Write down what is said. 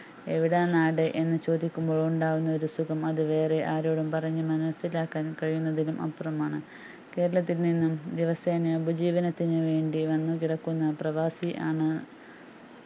എവിടാ നാട് എന്ന് ചോദിക്കുമ്പോൾ ഉണ്ടാകുന്ന ഒരു സുഖം അത് വേറെ ആരോടും പറഞ്ഞു മനസിലാക്കാൻ കഴിയുന്നതിലും അപ്പുറം ആണ് കേരളത്തിൽ നിന്നും ദിവസേനയുള്ള ഉപജീവനത്തിനുവേണ്ടി വന്നു കിടക്കുന്ന പ്രവാസി ആണ്